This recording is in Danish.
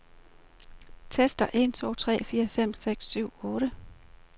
Tester en to tre fire fem seks syv otte.